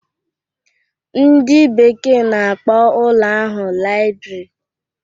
Ndị bekee na-akpọ ụlọ ahụ laịbrị